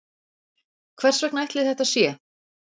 hvers vegna ætli þetta sé